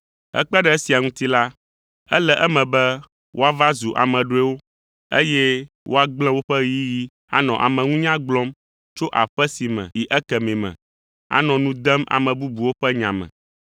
Hekpe ɖe esia ŋuti la, ele eme be woava zu ame ɖɔewo, eye woagblẽ woƒe ɣeyiɣi anɔ ameŋunya gblɔm tso aƒe si me yi ekemɛ me, anɔ nu dem ame bubuwo ƒe nya me.